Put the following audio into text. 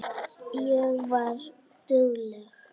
Ég var dugleg.